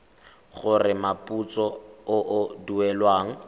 gore moputso o o duelwang